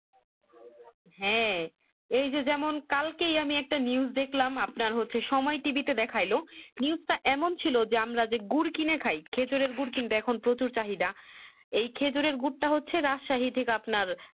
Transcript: হ্যাঁ এই যে যেমন কালকেই আমি একটা News দেখলাম আপনার হচ্ছে সময় TV তে দেখালো News তা এমন ছিল যে আমরা যে গুড় কিনে খাই খেজুরের গুড় যেমন আমরা কিনে খাই এই খেজুরের গুরটা হচ্ছে রাসাহিতির আপনার